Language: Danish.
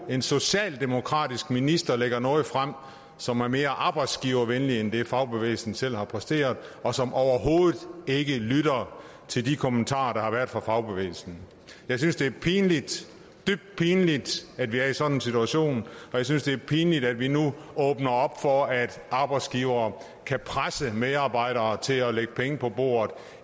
en socialdemokratisk minister lægger noget frem som er mere arbejdsgivervenligt end det fagbevægelsen selv har præsteret og som overhovedet ikke lytter til de kommentarer der har været fra fagbevægelsen jeg synes det er pinligt dybt pinligt at vi er i sådan en situation og jeg synes det er pinligt at vi nu åbner op for at arbejdsgivere kan presse medarbejdere til at lægge penge på bordet